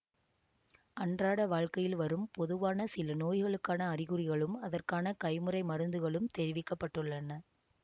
அன்றாட வாழ்க்கையில் வரும் பொதுவான சில நோய்களுக்கான அறிகுறிகளும் அதற்கான கைமுறை மருந்துகளும் தெரிவிக்க பட்டுள்ளன